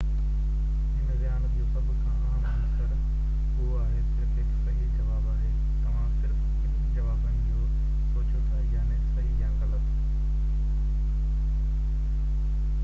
هن ذهانت جو سڀ کان اهم عنصر اهو آهي صرف هڪ صحيح جواب آهي توهان صرف ٻن جوابن جو سوچيو ٿا يعني صحيح يا غلط